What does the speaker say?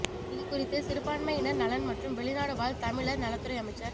இதுகுறித்து சிறுபான்மையினர் நலன் மற்றும் வெளிநாடு வாழ் தமிழர் நலத்துறை அமைச்சர்